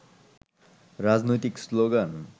রাজনৈতিক শ্লোগান